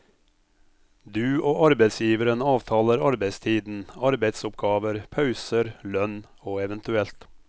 Du og arbeidsgiveren avtaler arbeidstiden, arbeidsoppgaver, pauser, lønn og evt.